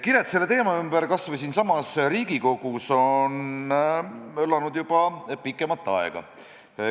Kired selle teema ümber kas või siinsamas Riigikogus on möllanud juba pikemat aega.